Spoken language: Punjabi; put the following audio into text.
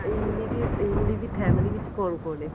ਇਮਲੀ ਦੀ ਇਮਲੀ ਦੀ family ਵਿੱਚ ਕੋਣ ਕੋਣ ਐ